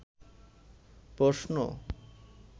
প্রশ্ন